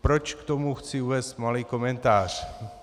Proč k tomu chci uvést malý komentář?